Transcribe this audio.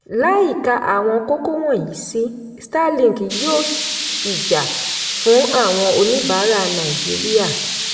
láìka àwọn kókó wọnyìí sí starlink yóò ṣì jà fún àwọn oníbàárà nàìjíríà.